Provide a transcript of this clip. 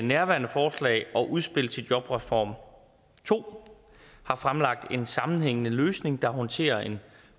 nærværende forslag og udspil til jobreform to har fremlagt en sammenhængende løsning der håndterer en